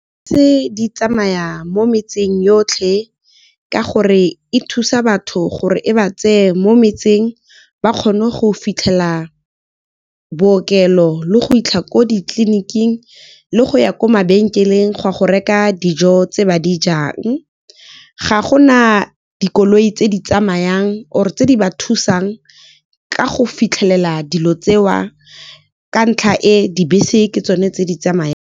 Dibese di tsamaya mo metseng yotlhe ka gore e thusa batho, gore e ba tseye mo metseng ba kgone go fitlhelela bookelo, le go fitlhela kwa ditleliniking le go ya kwa mabenkeleng go ya go reka dijo tse ba di jang. Ga gona dikoloi tse di tsamayang or tse di ba thusang ka go fitlhelela dilo tseo. Ka ntlha e dibese ke tsone tse di tsamayang.